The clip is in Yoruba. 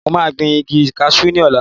Mo máa gbìn igi kasú ní ọ̀la